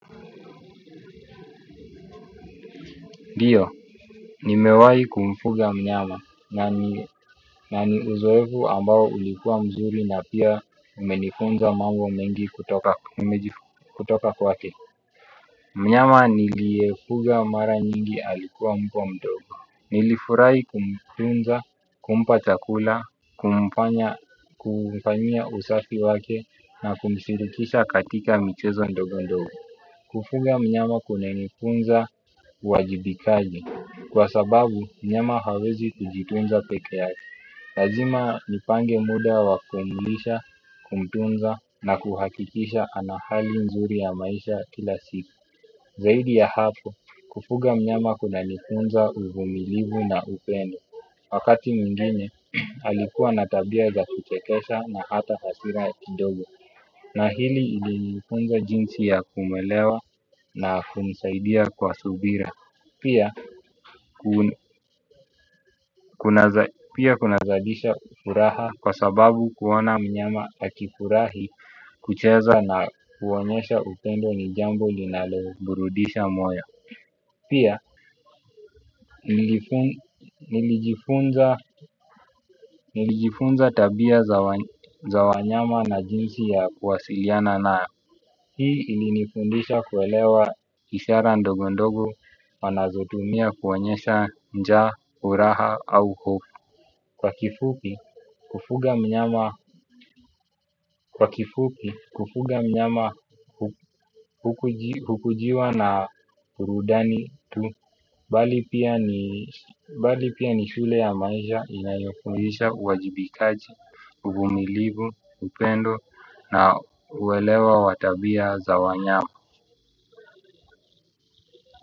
Ndiyo, nimewai kumfuga mnyama na ni uzoevu ambao ulikuwa mzuri na pia umenifunza mambo mengi kutoka kwake. Mnyama niliydfuga mara nyingi alikuwa mbwa mdogo. Nilifurahi kumtunza, kumpa chakula, kumfanyia usafi wake na kumshirikisha katika michezo ndogo ndogo. Kufuga mnyama kuna nifunza uwajibikaji kwa sababu mnyama hawezi kujitunza peke yake. Lazima nipange muda wa kumilisha kumtunza na kuhakikisha anahali nzuri ya maisha kila siku. Zaidi ya hapo kufuga mnyama kuna nifunza uvumilivu na upendo. Wakati mwinge alikuwa na tabia za kuchekesha na hata hasira kidogo. Na hili lilinifunza jinsi ya kumuelewa na kumsaidia kwa subira. Pia kunazadisha furaha kwa sababu kuona mnyama akifurahi kucheza na kuonyesha upendo ni jambo linaloburudisha moyo. Pia nilijifunza tabia za wanyama na jinsi ya kuwasiliana nao. Hii ilinifundisha kuelewa isara ndogo ndogo. Wanazotumia kuonyesha njaa, furaha au hufo. Kwa kifupi, kufuga mnyama hukujiwa na burudani tu. Bali pia ni shule ya maisha inayofundisha uwajibikaji, uvumilivu, upendo na uelewa wa tabia za wanyama. Kwa hivyo.